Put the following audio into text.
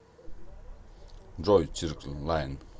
джой сиркл лайн